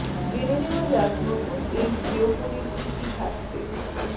জেনে নেওয়া যাক নতুন এই জিওফোনে কী কী থাকছেঃ